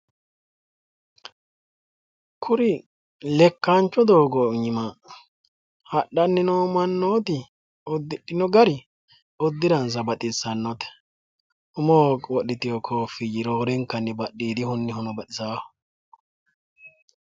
Kuri lekkancho doogo aana ha'nanni noo gari lowo geeshsha baxisanoho udidhinorino umoho wodhitino kofinyino lowo geeshsha baxisanoho